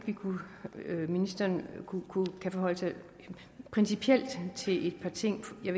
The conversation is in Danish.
ministeren kunne forholde sig principielt til et par ting som jeg